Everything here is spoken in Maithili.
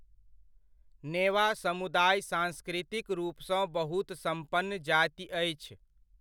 नेवा समुदाय सांस्कृतिक रूपसँ बहुत सम्पन्न जाति अछि।